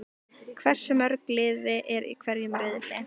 Hversu mörg lið eru í hverjum riðli?